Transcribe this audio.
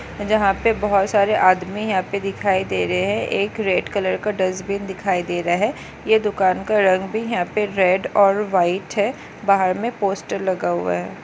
जहा पे बहुत सारे आदमी यहा पे दिखाई दे रहे है एक रेड़ कलर का डस्ट्बिन दिखाई दे रहा है यह दुकान का रंग भी यहा पे रेड़ और व्हाइट है बाहर मे पोस्टर लगा हुआ है।